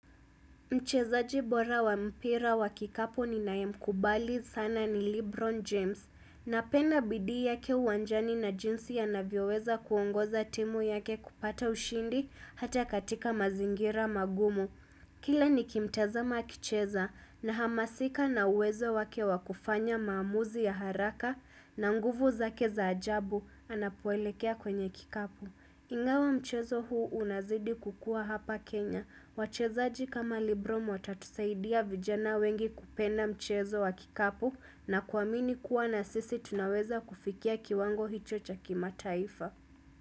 Mchezaji bora wa mpira wa kikapu ninae mkubali sana ni Lebron James. Napenda bidii yake uwanjani na jinsi anavyioweza kuongoza timu yake kupata ushindi hata katika mazingira magumu. Kila nikimtazama akicheza nahamasika na uwezo wake wa kufanya maamuzi ya haraka na nguvu zake za ajabu anapoelekea kwenye kikapu. Ingawa mchezo huu unazidi kukua hapa Kenya. Wachezaji kama librom watatusaidia vijana wengi kupenda mchezo wa kikapu na kuamini kuwa nasisi tunaweza kufikia kiwango hicho cha kimataifa.